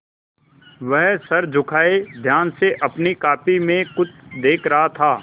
वह सर झुकाये ध्यान से अपनी कॉपी में कुछ देख रहा था